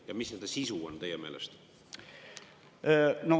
Ja mis nende sisu on teie meelest?